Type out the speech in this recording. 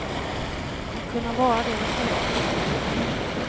Att kunna vara det med stolthet.